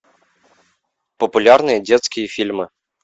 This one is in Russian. популярные детские фильмы